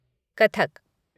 Kathak